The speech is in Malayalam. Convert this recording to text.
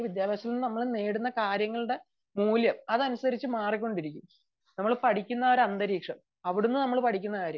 വിദ്യാഭ്യാസത്തിൽ നിന്ന് നമ്മൾ നേടുന്ന കാര്യങ്ങളുടെ മൂല്യം അതനുസരിച്ചു മാറിക്കൊണ്ടിരിക്കും നമ്മൾ പഠിക്കുന്ന ഒരു അന്തരീക്ഷം അവിടുന്ന് നമ്മൾ പഠിക്കുന്ന കാര്യം